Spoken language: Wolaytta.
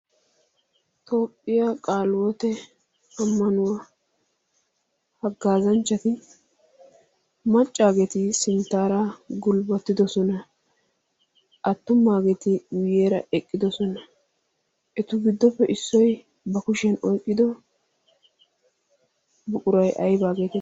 toophphiyaa qaalwote ammanuwaa haggaazanchchati maccaageeti sinttaara gulbbattidosona. attummaageeti uyyeera eqqidosona etu biddoppe issoi ba kushiyan oyqqido buquray aybaageeta?